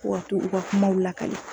Fo ka t'o u ka kumaw lakale